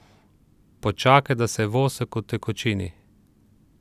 Počakaj, da se vosek utekočini.